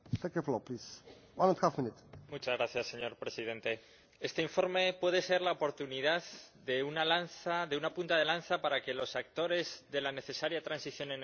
Señor Presidente, este informe puede ser la oportunidad, una punta de lanza, para que los actores de la necesaria transición energética sean las personas, la ciudadanía en sí.